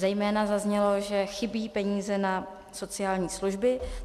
Zejména zaznělo, že chybí peníze na sociální služby.